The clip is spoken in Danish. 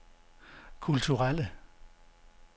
kulturelle